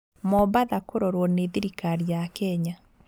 Mombasa kũrorwo nĩ thirikari ya Kenya